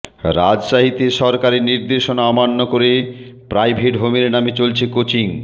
রাজশাহীতে সরকারি নির্দেশনা অমান্য করে প্রাইভেট হোমের নামে চলছে কোচিং